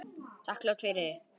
Þakklát fyrir þig.